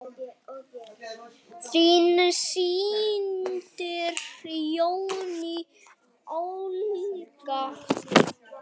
Þín systir, Jenný Olga.